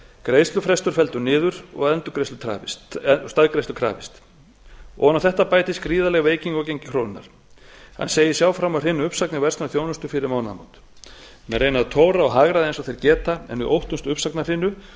greiðslufrestur felldur niður og staðgreiðslu krafist ofan á þetta bætist gríðarleg veiking á gengi krónunnar hann segist sjá fram á hrinu uppsagna í verslun og þjónustu fyrir mánaðamót menn reyna að tóra og hagræða eins og þeir lifandi geta en við óttumst uppsagnahrinu spurningin